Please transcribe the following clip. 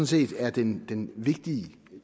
set er den den vigtige